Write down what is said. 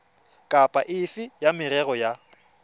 kapa efe ya merero ya